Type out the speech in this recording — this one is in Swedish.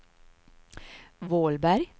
Vålberg